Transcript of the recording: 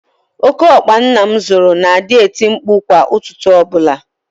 Óké ọkpa nna m zụrụ na-adị eti mkpu kwa ụtụtụ ọbụla.